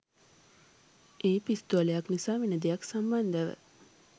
ඒ පිස්තෝලයක් නිසා වෙන දෙයක් සම්බන්ධව.